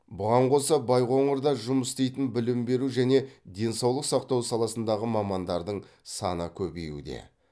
бұған қоса байқоңырда жұмыс істейтін білім беру және денсаулық сақтау саласындағы мамандардың саны көбеюде